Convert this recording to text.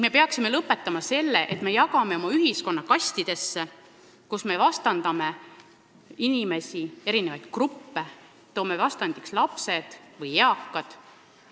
Me peaksime lõpetama selle, et me jagame oma ühiskonna kastidesse, kus me vastandame inimesi, eri gruppe, lapsi ja eakaid.